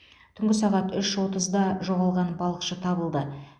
түнгі сағат үш отызда жоғалған балықшы табылды